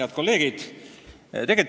Head kolleegid!